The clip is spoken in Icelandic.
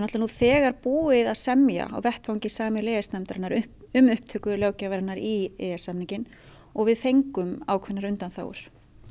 nú þegar búið að semja á vettvangi sameiginlegu e e s nefndarinnar um upptöku löggjafarinnar í e s samninginn og við fengum ákveðnar undanþágur